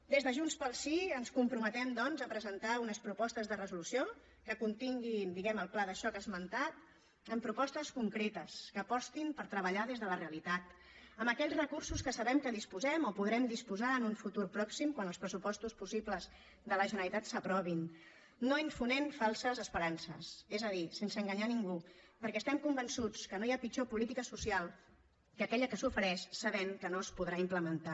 des de junts pel sí ens comprometem doncs a presentar unes propostes de resolució que continguin diguem ne el pla de xoc esmentat amb propostes concretes que apostin per treballar des de la realitat amb aquells recursos que sabem que disposem o podrem disposar en un futur pròxim quan els pressupostos possibles de la generalitat s’aprovin no infonent falses esperances és a dir sense enganyar a ningú perquè estem convençuts que no hi ha pitjor política social que aquella que s’ofereix sabent que no es podrà implementar